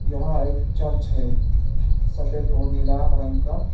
यहां एक चर्च है सफेद और नीला रंग का।